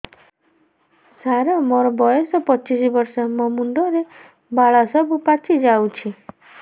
ସାର ମୋର ବୟସ ପଚିଶି ବର୍ଷ ମୋ ମୁଣ୍ଡରେ ବାଳ ସବୁ ପାଚି ଯାଉଛି